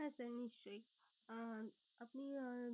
হ্যাঁ sir নিশ্চই আহ আপনি আহ